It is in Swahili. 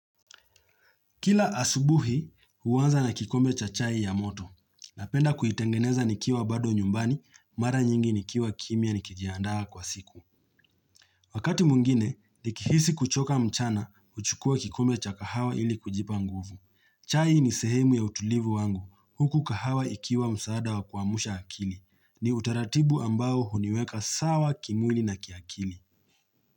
Kila asubuhi, huanza na kikombe cha chai ya moto. Napenda kuitengeneza nikiwa bado nyumbani, mara nyingi nikiwa kimya nikijiandaa kwa siku. Wakati mwingine, nikihisi kuchoka mchana, huchukua kikombe cha kahawa ili kujipa nguvu. Chai ni sehemu ya utulivu wangu, huku kahawa ikiwa msaada wa kuamsha akili. Ni utaratibu ambao huniweka sawa kimwili na kiakili.